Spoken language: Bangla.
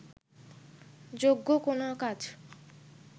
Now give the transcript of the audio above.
যোগ্য কোনো কাজ